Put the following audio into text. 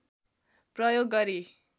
प्रयोग गरी